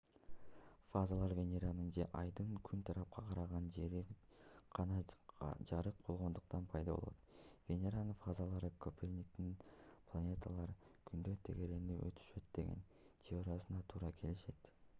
фазалар венеранын же айдын күн тарапка караган жери гана жарык болгондуктан пайда болот. венеранын фазалары коперниктин планеталар күндү тегеренип өтүшөт деген теориясына туура келишет